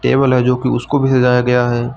Table है जो कि उसको भी सजाया गया है।